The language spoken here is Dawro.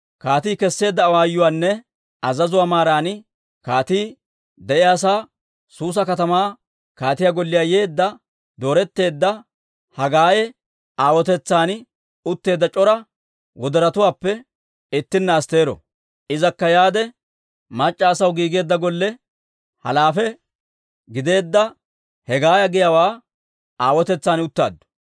Kaatii kesseedda awaayuwaanne azazuwaa maaran, kaatii de'iyaasaa Suusa katamaa kaatiyaa golliyaa yeedda dooretteedda Hagaye aawotetsan utteedda c'ora wodorotuwaappe ittinna Astteero. Izakka yaade, mac'c'a asaw giigeedda golle halaafe gideedda Hegaaya giyaawaa aawotetsan uttaaddu.